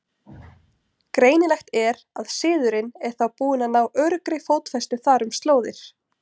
Greinilegt er, að siðurinn er þá búinn að ná öruggri fótfestu þar um slóðir.